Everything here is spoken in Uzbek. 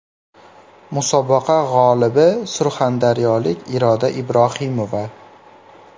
Musobaqa g‘olibi surxondaryolik Iroda Ibrohimova.